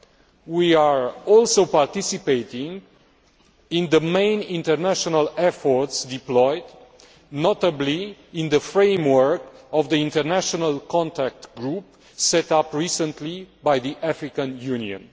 It is also participating in the main international efforts deployed, notably in the framework of the international contact group set up recently by the African Union.